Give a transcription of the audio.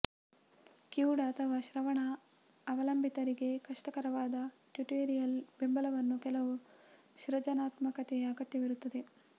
ಕಿವುಡ ಅಥವಾ ಶ್ರವಣ ಅವಲಂಬಿತರಿಗೆ ಕಷ್ಟಕರವಾದ ಟ್ಯುಟೋರಿಯಲ್ ಬೆಂಬಲವನ್ನು ಕೆಲವು ಸೃಜನಾತ್ಮಕತೆಯ ಅಗತ್ಯವಿರುತ್ತದೆ